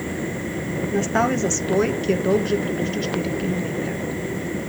Nastal je zastoj, ki je dolg že približno štiri kilometre.